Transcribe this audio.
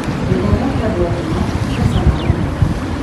gĩthomo kĩ andũ agima kĩ cama mũno